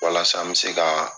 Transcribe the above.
Walasa an bɛ se ka